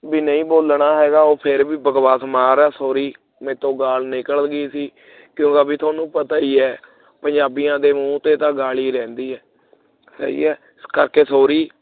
ਬਈ ਨਹੀਂ ਬੋਲਣਾ ਹੈਗਾ ਉਹ ਫ਼ੇਰ ਵੀ ਬਕਵਾਸ ਮਾਰ ਰਿਹਾ sorry ਮੇਰੇ ਤੋਂ ਗਾਲ੍ਹ ਨਿਕਲ ਗਈ ਸੀ ਉਹਦਾ ਵੀ ਤੁਹਾਨੂੰ ਪਤਾ ਹੀ ਹੈ ਪੰਜਾਬੀਆਂ ਦੇ ਮੂੰਹ ਤੇ ਤਾਂ ਗੱਲ ਹੀ ਰਹਿੰਦੀ ਹੈ ਸਹੀ ਹੈ ਇਸ ਕਰਕੇ sorry